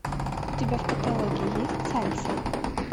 у тебя в каталоге есть сальса